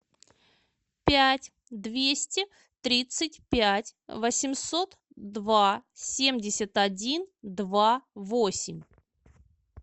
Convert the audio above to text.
пять двести тридцать пять восемьсот два семьдесят один два восемь